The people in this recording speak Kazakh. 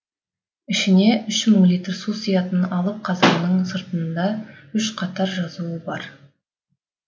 ішіне үш мың литр су сиятын алып қазанның сыртында үш қатар жазу бар